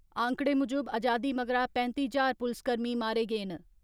आंकड़े मुजब आजादी मगरा पैंत्ती ज्हार पुलसकर्मी मारे गे न।